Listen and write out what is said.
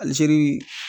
Alizeri